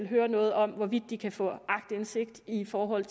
høre noget om hvorvidt de kan få aktindsigt i forhold